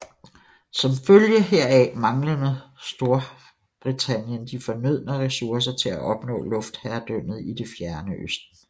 Som følge heraf manglede Storbritannien de fornødne ressourcer til at opnå luftherredømmet i Det fjerne østen